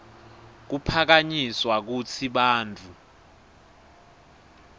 kuphakanyiswa kutsi bantfu